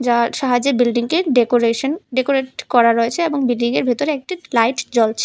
যার সাহায্যে বিল্ডিংটির ডেকোরেশন ডেকোরেট করা রয়েছে এবং বিল্ডিংয়ের ভিতরে একটি লাইট জ্বলছে।